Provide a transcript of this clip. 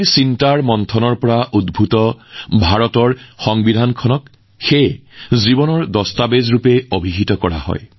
ভাৰতৰ সংবিধানখন ইমান কঠোৰ কছৰতৰ অন্তত ৰচনা কৰা হৈছে যে ইয়াক জীৱন্ত নথি বুলি কোৱা হয়